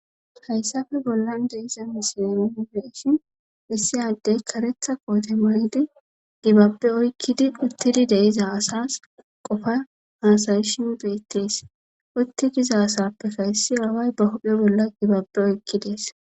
Hayssafe bollan deiza misilena uleshin issi adde karetha koote mayydi gibabe oykkidi uttidi deiza asas qofa hasayishin beettees uttidiza asappeka hyssi away bahuphe bolla gibabe oykkidees.